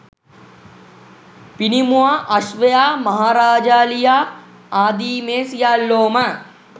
පිනිමුවා, අශ්වයා, මහ රාජාලියා ආදි මේ සියල්ලෝ ම